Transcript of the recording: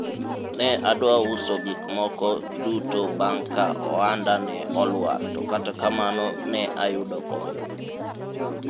ne adwa uso gikmoko duto bang' ka ohanda ne olwar to kata kamano ne ayudo kony